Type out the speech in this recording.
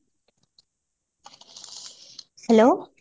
hello